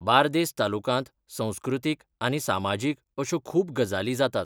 बार्देस तालुकांत संस्कृतीक आनी सामाजीक अश्यो खूब गजाली जातात.